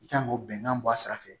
I kan k'o bɛnkan bɔ a sira fɛ